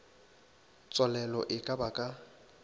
tswalelo e ka ba ka